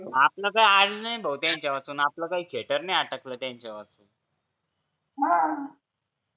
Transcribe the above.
आपलं काही अडलं नाही भो त्यांच्यावाचून आपलं काही खेटर नाही आटकल त्यांच्यावाचून